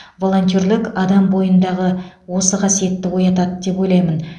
волонтерлік адам бойындағы осы қасиетті оятады деп ойлаймын